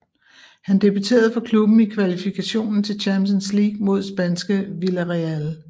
Han debuterede for klubben i kvalifikationen til Champions League mod spanskeVillarreal